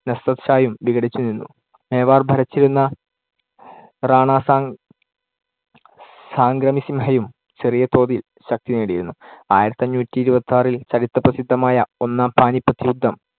നസ്രത്ത് ഷായും വിഘടിച്ച് നിന്നു. മേവാർ ഭരിച്ചിരുന്ന റാണാസംഗ~ സംഗ്രാമിസിംഹയും ചെറിയതോതിൽ ശക്തി നേടിയിരുന്നു. ആയിരത്തിഅഞ്ഞൂറ്റി ഇരുപത്തിയാറിൽ ചരിത്ര പ്രസിദ്ധമായ ഒന്നാം പാനിപ്പത്ത് യുദ്ധം